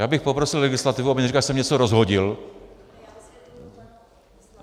Já bych poprosil legislativu, aby neříkala, že jsem něco rozhodil.